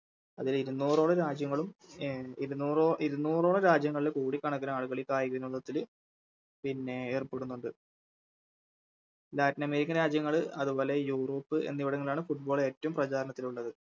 അതിലിരുന്നോറോളം രാജ്യങ്ങളും അഹ് ഇരുന്നൂറോ ഇരുന്നോറോളം രാജ്യങ്ങളിൽ കോടിക്കണക്കിനാളുകള് ഈ കായികവിനോദത്തില് പിന്നെ ഏർപ്പെടുന്നുണ്ട് Latin american രാജ്യങ്ങൾ അതുപോലെ യൂറോപ്പ് എന്നിവിടങ്ങളിലാണ് Football ഏറ്റോം പ്രചാരണത്തിലുള്ളത്